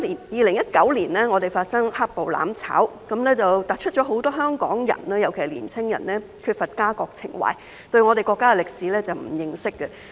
2019年，香港發生"黑暴""攬炒"，突出很多香港人，尤其是年輕人缺乏家國情懷，對我們國家的歷史並不認識。